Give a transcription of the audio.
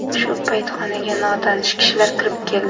Shu payt xonaga notanish kishilar kirib keldi.